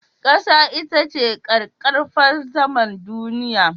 Ƙasa ita ce ƙaƙƙarfan saman duniya.